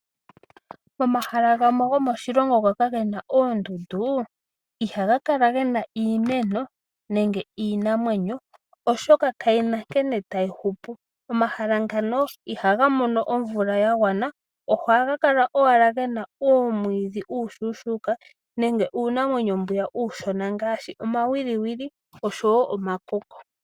Momahala gamwe gomoshilongo nhoka gena oondundu, ihaga kala gena iimeno nenge iinamwenyo oshoka kayi na nkene tayi hupu. Omahala ngano ihaga mono omvula ya gwana, ohaga kala owala gena uumwiidhi uushushuka nenge uunamwenyo mbwiya uushona ngaashi omawiwili oshowo omakoko.